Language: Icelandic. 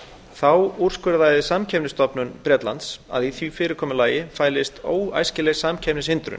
þá úrskurðaði samkeppnisstofnun bretlands að í því fyrirkomulagi fælist óæskileg samkeppnishindrun